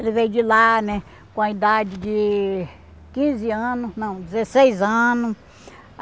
Ele veio de lá né com a idade de quinze ano, não, dezesseis ano.